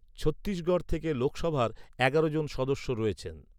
ছত্তিশগড় থেকে লোকসভার এগারো জন সদস্য রয়েছেন।